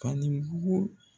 K'a ni bugu